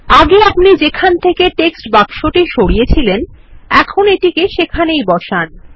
আগে আপনি যেখান থেকে টেক্সট বাক্সটি সরিয়েছিলেন এখন এটিকে সেখানেই বসান